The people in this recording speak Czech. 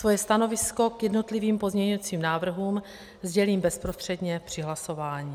Svoje stanovisko k jednotlivým pozměňujícím návrhům sdělím bezprostředně při hlasování.